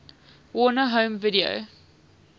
warner home video